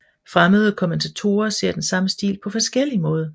Fremmede kommentatorer ser den samme stil på forskellig måde